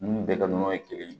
Ninnu bɛɛ ka nɔnɔ ye kelen ye